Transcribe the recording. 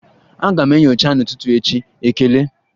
Aga m enyocha n'ụtụtụ echi, ekele.